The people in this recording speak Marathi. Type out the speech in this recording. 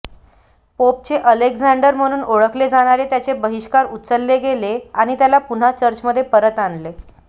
पोपचे अलेक्झांडर म्हणून ओळखले जाणारे त्याचे बहिष्कार उचलले गेले आणि त्याला पुन्हा चर्चमध्ये परत आणले